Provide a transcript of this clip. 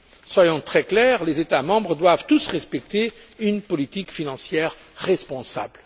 Soyons très clairs les États membres doivent tous respecter une politique financière responsable.